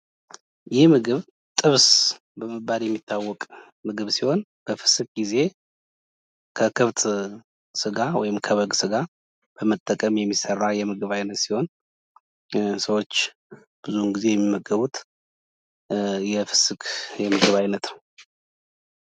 ይህ ምግብ ጥብስ በመባል የሚታወቅ ምግብ ሲሆን በፍስክ ጊዜ ከከብት ስጋ ወይም ከበግ ስጋ በመጠቀም የሚሠራ የምግብ አይነት ሲሆን ሰዎች ብዙውን ጊዜ የሚመገቡት የፍስክ የምግብ ዓይነት ነው ።